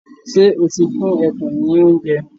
Ṣé o ti fún ẹkùn ní oúnjẹ?